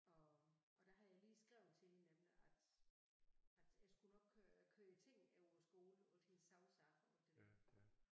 Og og der havde jeg lige skrevet til hende nemlig at at jeg skulle nok køre køre tingene over skolen alt hendes sovesager og det der